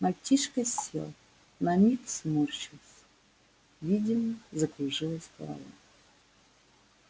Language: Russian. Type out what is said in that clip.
мальчишка сел на миг сморщился видимо закружилась голова